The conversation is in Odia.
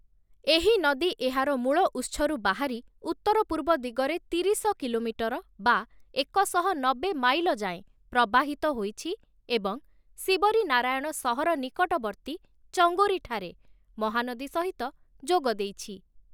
ଏହି ନଦୀ ଏହାର ମୂଳ ଉତ୍ସରୁ ବାହାରି ଉତ୍ତର-ପୂର୍ବ ଦିଗରେ ତିରିଶ କିଲୋମିଟର (ଏକ ଶହ ନବେ ମାଇଲ) ଯାଏଁ ପ୍ରବାହିତ ହୋଇଛି ଏବଂ ଶିବରିନାରାୟଣ ସହର ନିକଟବର୍ତ୍ତୀ ଚଙ୍ଗୋରୀଠାରେ ମହାନଦୀ ସହିତ ଯୋଗଦେଇଛି ।